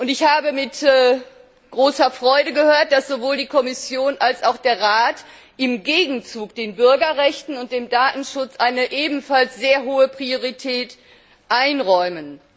Ich habe mit großer Freude gehört, dass sowohl die Kommission als auch der Rat im Gegenzug den Bürgerrechten und dem Datenschutz eine ebenfalls sehr hohe Priorität einräumen.